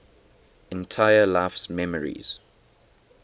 entire life's memories